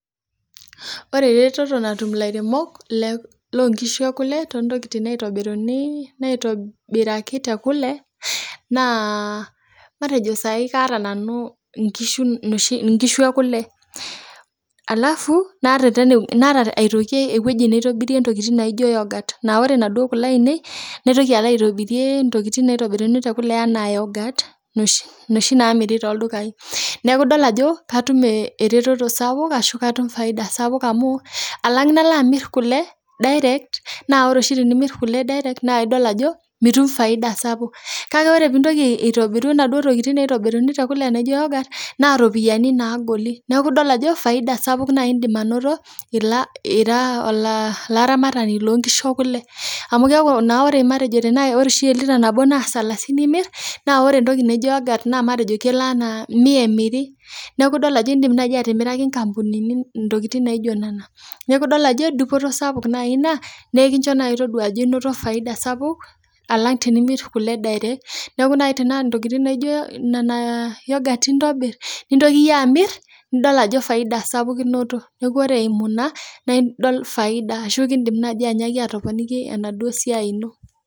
Ore eretoto natum ilairemok loo ngishu ekule too ntokitin naitobiraki te Kule naa matejo saaii kaata nanu inkishu ekule alafu naata aitoki ewueji naitobiri intokitin naiko yoghurt naa koree naduoo Kule aainei naitoki alo aitobirrie intokitin naitoruni teb Kule enaa yoghurt, noshi nasmiri tooldukaii neeku idol ajo katun eretoto sapuk ashu katum faida sapuk amu alang nalo amirr Kule direct naa ore oshi tinimirr Kule direct naa idol ajo minim faida kake ore piintoki aitobiru naduoo tokitin naitobirini te Kule naijo yoghurt naa ropiyiani nagoli neeku idol ajo faida sapuk Indim anoto ira olaramatani loo nkishu ekule, amuu keeku matejo tenaa ore oshi elira nabo naa salasini imirr naa kore entoki naijo yoghurt naa mia emirri, neeku idim naaji atimiraki inkapunini intokitin naijo nena, neeku idol ajo dupoto sapuk naaii ina naa ekisho naaii toduaa ajo inoto faida sapuk alang timirr Kule direct, neeku tenaa tokitin naijo nena yoghurt intobirr nitaku yie amirr nidol ajo faida sapuk inoto, neeku kore eimu ina neeku faida ashu ikidim naaji atoponiki enaduoo siaai ino.